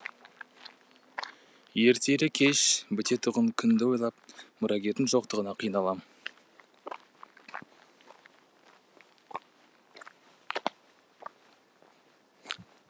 ертелі кеш бітетұғын күнді ойлап мұрагердің жоқтығына қиналам